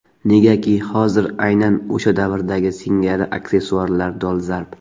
Negaki hozir aynan o‘sha davrdagi singari aksessuarlar dolzarb.